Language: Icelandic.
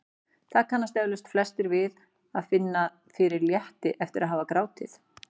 Það kannast eflaust flestir við að finna fyrir létti eftir að hafa grátið.